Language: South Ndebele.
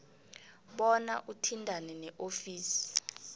bona uthintane neofisi